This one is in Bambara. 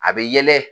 A bɛ yɛlɛ